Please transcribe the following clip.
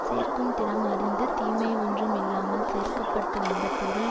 சேர்க்கும் திறம் அறிந்து தீமை ஒன்றும் இல்லாமல் சேர்க்க பட்டுவந்த பொருள்